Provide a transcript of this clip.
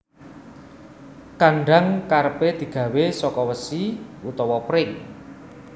Kandhang kerepé digawé saka wesi utawa pring